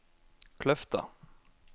Kløfta